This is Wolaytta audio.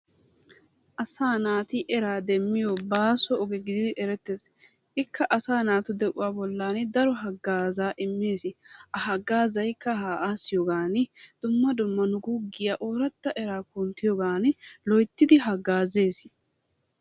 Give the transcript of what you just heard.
Asaa naati eraa demmiyo baaso oge gididi erettees. Ikka asaa naatu de'uwa bollaani daro haggaazaa immees. Ha haggaazaykka ha aassiyogaani dumma dumma guuggiyan ooratta eraa kunttiyogaani loyttidi haggaazees.